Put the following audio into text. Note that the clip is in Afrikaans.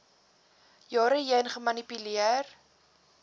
jare heen gemanipuleer